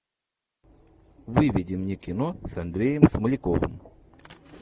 выведи мне кино с андреем смоляковым